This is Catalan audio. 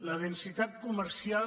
la densitat comercial